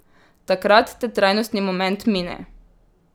Takrat te trajnostni moment mine.